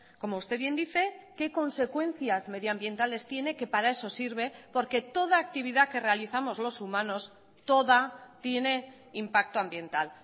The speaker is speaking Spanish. como usted bien dice qué consecuencias medioambientales tiene que para eso sirve porque toda actividad que realizamos los humanos toda tiene impacto ambiental